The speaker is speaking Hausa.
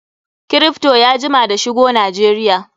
Kripto ya jima da shigo Najeriya.